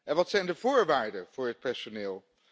En wat zijn de voorwaarden voor het personeel?